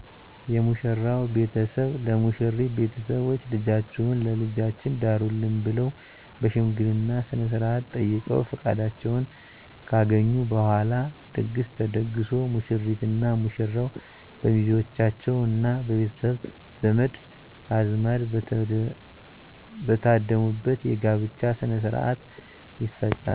የሙሽራው ቤተሰብ ለሙሽሪት ቤተሰቦች ልጃችሁን ለልጃችን ዳሩልን ብለዉ በሽምገልና ስነስርአት ጠይቀዉ ፍቃዳቸውን ካገኙ በኋላ ድግስ ተደግሶ ሙሽሪትና ሙሽራው በሚዜዎቻቸዉና በቤተሰብ ዘመድ አዝማድ በተደሙበት የጋብቻ ሥነ ሥርዓት ይፈፀማል